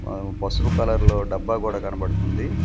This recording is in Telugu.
ఆహ్ పసుపు కలర్లో డబ్బా కూడా కనబడుతుంది.